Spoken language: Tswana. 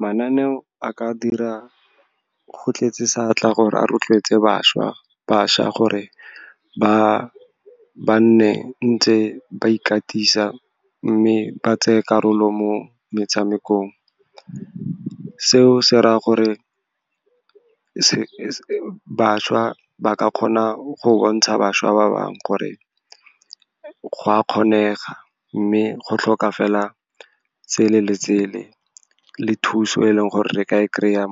Mananeo a ka dira go tletse seatla gore a rotloetse bašwa gore ba nne ntse ba ikatisa, mme ba tseye karolo mo metshamekong. Seo se raya gore bašwa ba ka kgona go bontsha bašwa ba bangwe gore go a kgonega, mme go tlhoka fela tsele le tsele, le thuso e leng gore re ka e kry-a